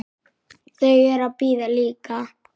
Þau eru að bíða líka.